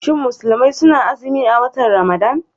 Shin musulmi suna azumin a watan Ramadan?